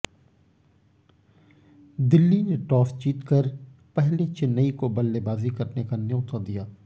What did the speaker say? दिल्ली ने टॉस जीतकर पहले चेन्नई को बल्लेबाजी करने का न्यौता दिया